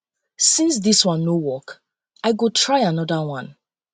since dis one no work i work i go try another one